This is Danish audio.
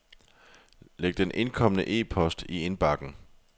Læg den indkomne e-post i indbakken.